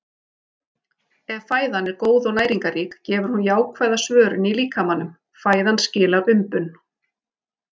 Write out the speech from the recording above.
Ef fæðan er góð og næringarrík gefur hún jákvæða svörun í líkamanum- fæðan skilar umbun.